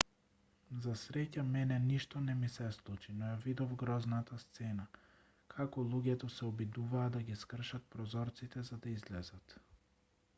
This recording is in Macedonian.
за среќа мене ништо не ми се случи но ја видов грозната сцена како луѓето се обидуваа да ги скршат прозорците за да излезат